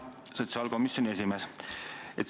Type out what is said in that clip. Hea sotsiaalkomisjoni esimees!